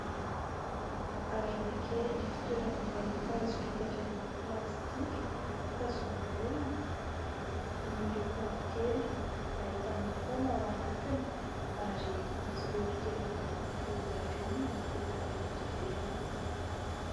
Harona kely fitoeram-boankazo vita avy amin'ny plastika tazomin'ny olona, miloko mavokely, ahitana paoma ao anatiny ary misy lolo kely miloko volondavenona mipetaka eto ivelany.